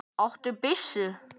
Áttu byssu?